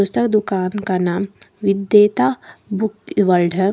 पुस्तक दुकान का नाम वेदांता बुक वर्ल्ड है।